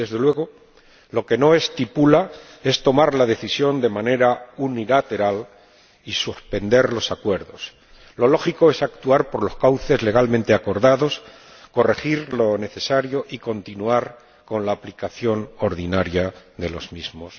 Y desde luego, lo que no estipula es tomar la decisión de manera unilateral y suspender los Acuerdos. Lo lógico es actuar por los cauces legalmente acordados, corregir lo necesario y continuar con la aplicación ordinaria de los mismos.